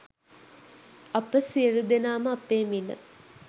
අප සියළු දෙනාම අපේ මිළ